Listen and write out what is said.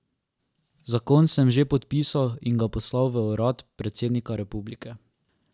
Zakon sem že podpisal in ga poslal v urad predsednika republike.